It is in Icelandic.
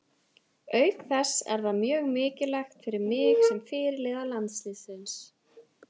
Auk þess er það mjög mikilvægt fyrir mig sem fyrirliða landsliðsins.